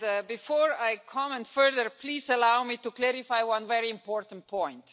Before I comment further, please allow me to clarify one very important point.